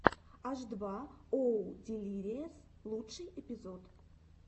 аш два оу дилириэс лучший эпизод